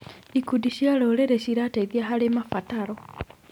Ikundi cia rũrĩrĩ cirateithia harĩ mabataro.